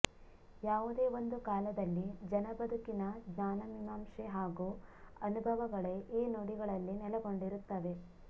ಯಾವುದೇ ಒಂದು ಕಾಲದಲ್ಲಿ ಜನಬದುಕಿನ ಜ್ಞಾನಮೀಮಾಂಸೆ ಹಾಗೂ ಅನುಭವಗಳೇ ಈ ನುಡಿಗಳಲ್ಲಿ ನೆಲೆಗೊಂಡಿರುತ್ತವೆ